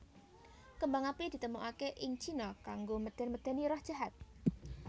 Kembang api ditemokaké ing Cina kanggo medén medéni roh jahat